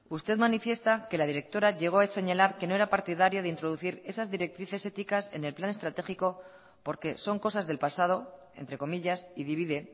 usted manifiesta que la directora llegó a señalar que no era partidario de introducir esas directrices éticas en el plan estratégico porque son cosas del pasado entre comillas y divide